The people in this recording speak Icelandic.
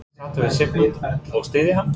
Eru allir sáttir við Sigmund og styðja hann?